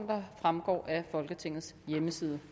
der fremgår af folketingets hjemmeside